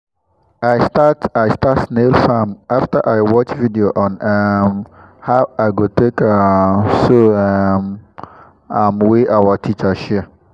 i start i start snail farm after i watch video on um how i go take um so um am wey our teacher share